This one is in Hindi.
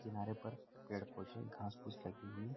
किनारे पर पेड़-पौधे घास-फूस लगी हुई --